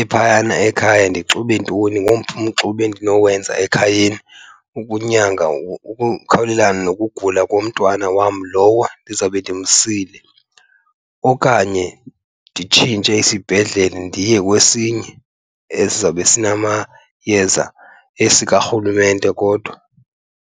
ephayana ekhaya, ndixube ntoni, ngomphi umxube endinowenza ekhayeni ukunyanga ukukhawulelana nokugula komntwana wam lowo ndizawube ndimsile. Okanye nditshintshe isibhedlele ndiye kwesinye esizawube sinamayeza, esikarhulumente kodwa.